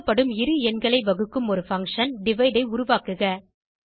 கொடுக்கப்படும் இரு எண்களை வகுக்கும் ஒரு பங்ஷன் டிவைடு ஐ உருவாக்குக